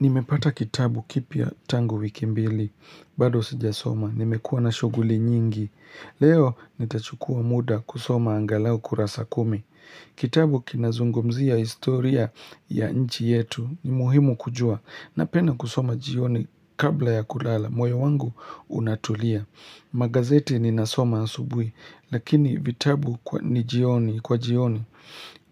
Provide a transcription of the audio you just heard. Nimepata kitabu kipya tangu wiki mbili, bado sijasoma, nimekuwa na shughuli nyingi. Leo nitachukua muda kusoma angalau kurasa kumi. Kitabu kinazungumzia historia ya nchi yetu, ni muhimu kujua. Napenda kusoma jioni kabla ya kulala, moyo wangu unatulia. Magazeti ninasoma asubuhi, lakini vitabu ni jioni, kwa jioni.